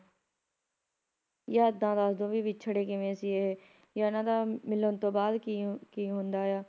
ਜਾਂ ਇਹਦਾ ਦੱਸਦੋ ਵਿਛੜੇ ਕਿਵੇਂ ਸੀ ਇਹ ਜਾਂ ਇਹਨਾਂ ਦਾ ਮਿਲਣ ਤੋਂ ਬਾਅਦ ਕੀ ਕੀ ਹੁੰਦਾ ਆ